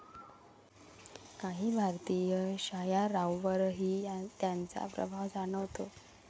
काही भारतीय शायारांवरही त्यांचा प्रभाव जाणवतो.